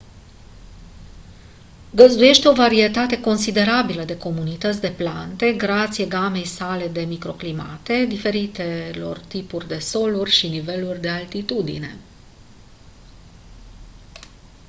găzduiește o varietate considerabilă de comunități de plante grație gamei sale de microclimate diferitelor tipuri de soluri și niveluri de altitudine